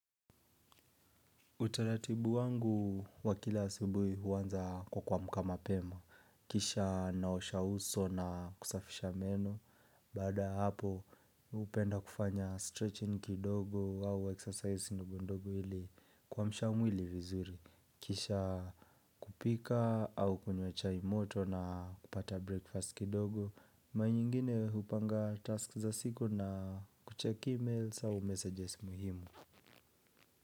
Utaratibu wangu wa kila asubuhi uanza kwa kuamka mapema. Kisha naosha uso na kusafisha meno. Baada ya hapo mimi upenda kufanya stretching kidogo au exercise ndogondogo hili kuamsha mwili vizuri. Kisha kupika au kunywa chai moto na kupata breakfast kidogo. Mara nyingine hupanga tasks za siku na kucheck emails au messages muhimu.